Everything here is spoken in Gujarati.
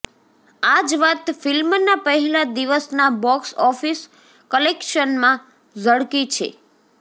આ જ વાત ફિલ્મના પહેલા દિવસના બોક્સ ઑફિસ કલેક્શનમાં ઝળકી છે